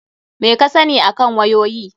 Meh ka sani akan wayoyi?